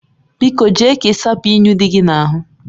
Biko jee ka ị sapụ unyi dị gị n'ahụ